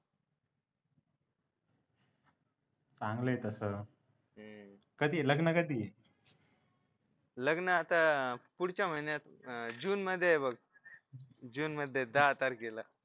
चांगला आहे तसं कधी आहे लग्न कधी आहे. लग्न आता पुढच्या महिन्यात जून मध्ये आहे बघ जून मध्ये आहे दहा तारखेला